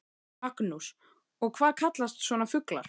Magnús: Og hvað kallast svona fuglar?